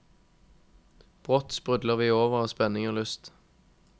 Brått sprudler vi over av spenning og lyst.